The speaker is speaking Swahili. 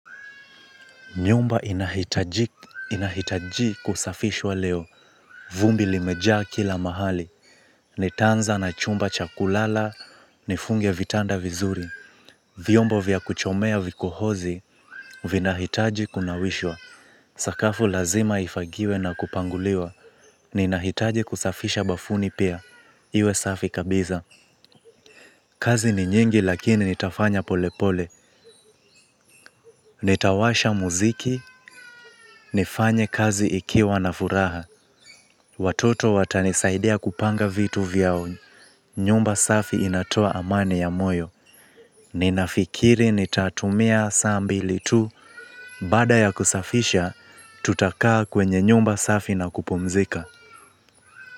Nyumba inahitaji kusafishwa leo. Vumbi limejaa kila mahali. Nitaanza na chumba cha kulala nifunge vitanda vizuri. Vyombo vya kuchomea vikohozi vinahitaji kunawishwa. Sakafu lazima ifagiwe na kupanguliwa. Ninahitaji kusafisha bafuni pia. Iwe safi kabisa. Kazi ni nyingi lakini nitafanya pole pole. Nitawasha muziki, nifanye kazi ikiwa na furaha. Watoto watanisaidea kupanga vitu vyao. Nyumba safi inatoa amani ya moyo. Ninafikiri nitatumia saa mbili tu baada ya kusafisha tutakaa kwenye nyumba safi na kupumzika.